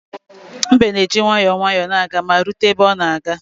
Mbe na-eji nwayọọ nwayọọ na-aga ma rute ebe ọ na-aga